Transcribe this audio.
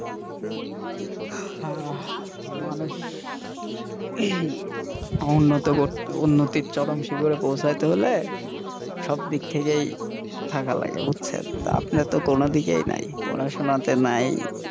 আহ মানুষ উন্নত করতে উন্নতির চরম শিখরে পৌছাইতে হলে সব দিক থেকেই থাকা লাগে বুঝছেন তা আপনি তো কোনো দিকেই নাই পড়াশোনাতে নাই,